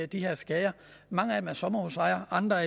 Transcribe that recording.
de her skader mange af dem er sommerhusejere andre